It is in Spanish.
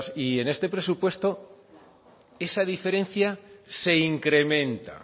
y en este presupuesto esa diferencia se incrementa